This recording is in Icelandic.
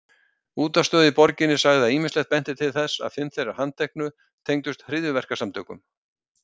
Útvarpsstöð í borginni sagði að ýmislegt benti til þess að fimm þeirra handteknu tengdust hryðjuverkasamtökum.